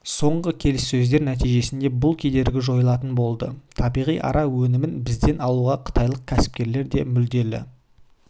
соңғы келіссөздер нәтижесінде бұл кедергі жойылатын болды табиғи ара өнімін бізден алуға қытайлық кәсіпкерлер де мүдделі